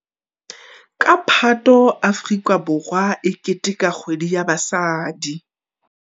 Ka Phato Afrika Borwa e keteteka Kgwedi ya Basadi.